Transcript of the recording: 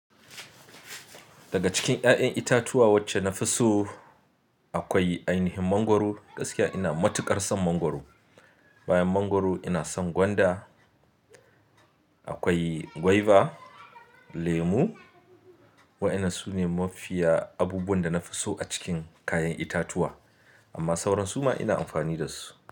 Daga cikin 'ya'yan itatuwa wacce na fi so akwai ai nihin mangwaro. Gaskiya ina matuƙar son mangwaro. Bayan mangwaro ina son gwanda. Akwai gwaiba, lemu wa'inan sune mafiya abubuwan da na fi so a cikin kayan itatuwa amma sauran su ma ina amfani da su.